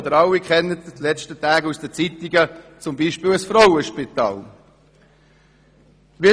Ich kann dazu als Beispiel das Frauenspital nennen.